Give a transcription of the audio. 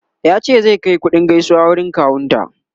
ya ce zai Kai kuɗin gaisuwa wurin kawun ta